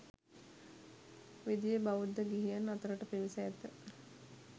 විධිය බෞද්ධ ගිහියන් අතරට පිවිස ඇත.